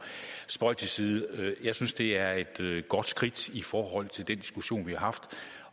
spøg til side jeg synes det er et godt skridt i forhold til den diskussion vi har haft